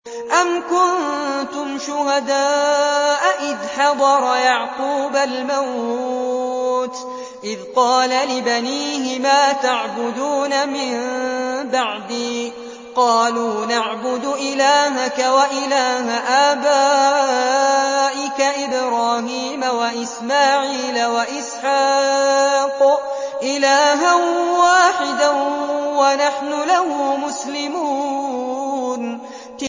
أَمْ كُنتُمْ شُهَدَاءَ إِذْ حَضَرَ يَعْقُوبَ الْمَوْتُ إِذْ قَالَ لِبَنِيهِ مَا تَعْبُدُونَ مِن بَعْدِي قَالُوا نَعْبُدُ إِلَٰهَكَ وَإِلَٰهَ آبَائِكَ إِبْرَاهِيمَ وَإِسْمَاعِيلَ وَإِسْحَاقَ إِلَٰهًا وَاحِدًا وَنَحْنُ لَهُ مُسْلِمُونَ